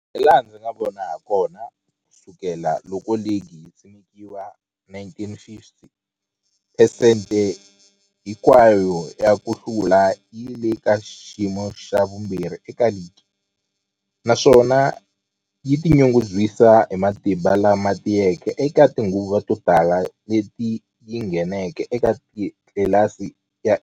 Hilaha ndzi nga vona hakona, ku sukela loko ligi yi simekiwile, 1950, phesente hinkwayo ya ku hlula yi le ka xiyimo xa vumbirhi eka ligi, naswona yi tinyungubyisa hi matimba lama tiyeke eka tinguva to tala leti yi ngheneke eka tlilasi ya A.